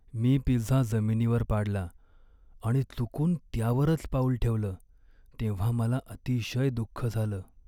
मी pizza जमिनीवर पाडला आणि चुकून त्यावरच पाऊल ठेवलं तेव्हा मला अतिशय दुःख झालं.